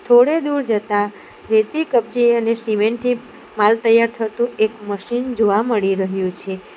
થોડે દૂર જતા રેતી કપચી અને સિમેન્ટ થી માલ તૈયાર થતું એક મશીન જોવા મળી રહ્યું છે.